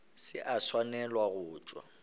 se a swanela go tšwa